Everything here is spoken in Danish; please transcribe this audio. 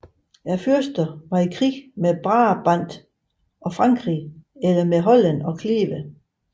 Fyrsterne krigedes med Brabant og Frankrig eller med Holland og Kleve